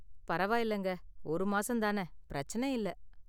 பரவயில்லங்க, ஒரு மாசம் தான, பிரச்சனயில்ல.